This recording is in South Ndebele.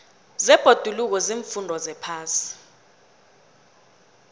zebhoduluko ziimfundo zephasi